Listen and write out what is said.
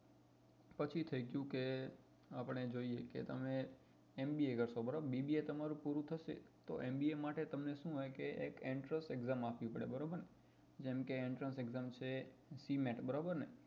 પછી થઇ ગયું કે આપડે જોઈએ કે તમે mba કરસો બરાબર bba તમારું પૂરું થશે તો mba માટે તમને શું હોય કે એક entrance exam આપવી પડે બરોબર ને જેમ કે entrance exam છે cement બરોબર ને